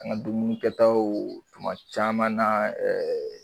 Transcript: An ga dumunikɛtaw tuma caman na ɛɛɛ